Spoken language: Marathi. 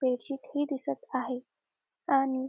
बेडशीट ही दिसत आहे आणि --